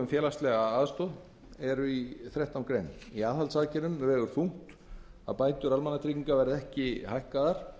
félagslega aðstoð eru í þrettán greinum í aðhaldsaðgerðum vegur þungt að bætur almannatrygginga verða ekki hækkaðar